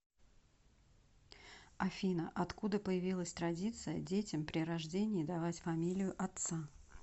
афина откуда появилась традиция детям при рождении давать фамилию отца